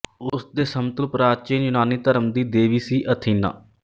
ਉਸ ਦੇ ਸਮਤੁਲ ਪ੍ਰਾਚੀਨ ਯੂਨਾਨੀ ਧਰਮ ਦੀ ਦੇਵੀ ਸੀ ਅਥੀਨਾ